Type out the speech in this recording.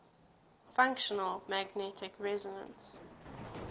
functional magnetic resonance